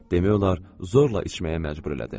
Demək olar, zorla içməyə məcbur elədi.